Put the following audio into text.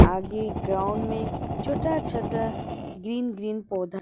आगे ग्राउंड में छोटा छोटा ग्रीन ग्रीन पौधा --